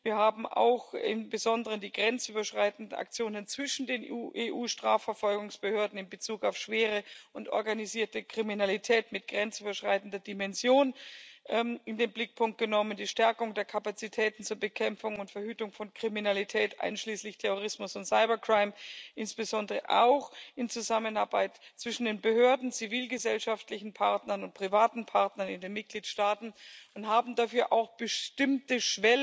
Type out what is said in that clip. Wir haben auch im Besonderen die grenzüberschreitenden Aktionen zwischen den EU-Strafverfolgungsbehörden in Bezug auf schwere und organisierte Kriminalität mit grenzüberschreitender Dimension in den Blickpunkt genommen, die Stärkung der Kapazitäten zur Bekämpfung und Verhütung von Kriminalität einschließlich Terrorismus und Cybercrime insbesondere auch in Zusammenarbeit zwischen den Behörden, zivilgesellschaftlichen Partnern und privaten Partnern in den Mitgliedstaaten, und haben dafür auch bestimmte